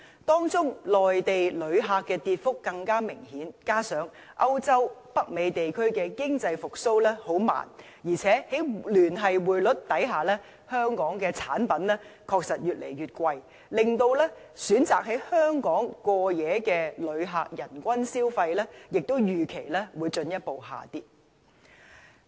當中，內地旅客的跌幅更加明顯，加上歐洲及北美地區經濟復蘇緩慢，以及在聯繫匯率下，香港的產品確實越來越貴，令選擇在香港過夜的旅客的人均消費，亦預期會進一步下跌。